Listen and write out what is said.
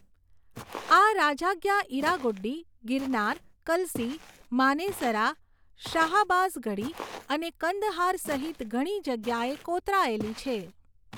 આ રાજાજ્ઞા ઇરાગુડ્ડી, ગિરનાર, કલસી, માનેસરા, શાહબાઝગઢી અને કંદહાર સહિત ઘણી જગ્યાએ કોતરાયેલી છે.